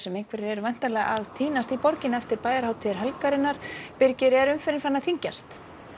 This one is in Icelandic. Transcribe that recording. einhverjir eru væntanlega að tínast í borgina eftir bæjarhátíðir helgarinnar er umferðin farin að þyngjast